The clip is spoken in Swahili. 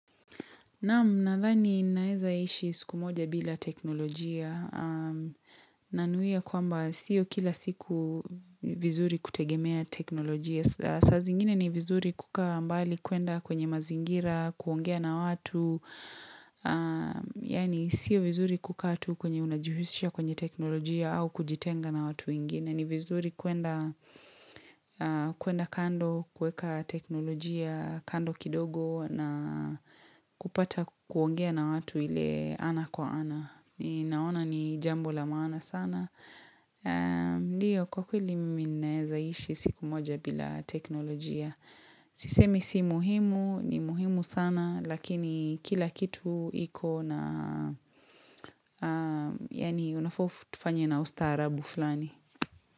Naam nadhani naweza ishi siku moja bila teknolojia. Nanuia kwamba siyo kila siku vizuri kutegemea teknolojia. Saazingine ni vizuri kuka mbali kuenda kwenye mazingira, kuongea na watu. Yaani siyo vizuri kukaatu kwenye unajuhushia kwenye teknolojia au kujitenga na watu wengine. Na ni vizuri kuenda kando, kuweka teknolojia kando kidogo na kupata kuongea na watu ile ana kwa ana. Ni naona ni jambo la maana sana. Ndiyo kwa kweli mimi ninawezaishi siku moja bila teknolojia. Sisemi si muhimu, ni muhimu sana lakini kila kitu iko na, yaani unafofu tufanye na ustaarabu fulani.